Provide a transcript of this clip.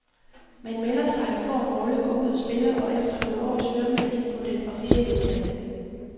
Man melder sig, får en rolle, går ud og spiller, og efter nogle år søger mange ind på den officielle uddannelse.